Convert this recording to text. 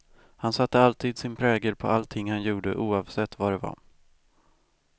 Han satte alltid sin prägel på allting han gjorde, oavsett vad det var.